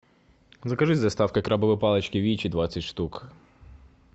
закажи с доставкой крабовые палочки вичи двадцать штук